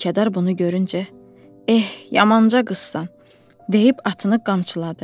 Mülkədar bunu görüncə: Eh, yamanca qızsan, deyib atını qamçıladı.